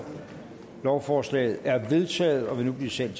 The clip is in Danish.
lovforslaget er vedtaget og vil nu blive sendt